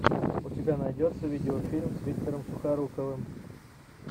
у тебя найдется видеофильм с виктором сухоруковым